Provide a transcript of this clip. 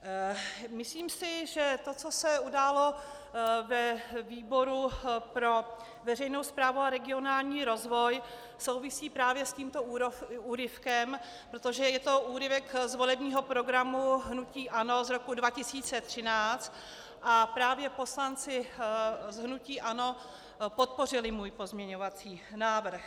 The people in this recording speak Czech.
Myslím si, že to, co se událo ve výboru pro veřejnou správu a regionální rozvoj, souvisí právě s tímto úryvkem, protože je to úryvek z volebního programu hnutí ANO z roku 2013, a právě poslanci z hnutí ANO podpořili můj pozměňovací návrh.